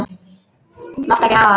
Máttu ekki hafa það.